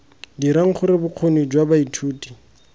dirang gore bokgoni jwa baithuti